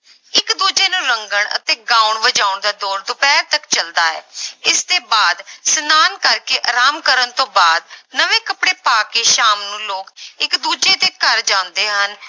ਇੱਕ ਦੂਜੇ ਨੂੰ ਰੰਗਣ ਅਤੇ ਗਾਉਣ ਵਜਾਉਣ ਦਾ ਦੌਰ ਦੁਪਿਹਰ ਤੱਕ ਚੱਲਦਾ ਹੈ ਇਸਦੇ ਬਾਅਦ ਇਸਨਾਨ ਕਰਕੇ ਆਰਾਮ ਕਰਨ ਤੋਂ ਬਾਅਦ ਨਵੇਂ ਕੱਪੜੇ ਪਾ ਕੇ ਸ਼ਾਮ ਨੂੰ ਲੋਕ ਇੱਕ ਦੂਜੇ ਦੇ ਘਰ ਜਾਂਦੇ ਹਨ,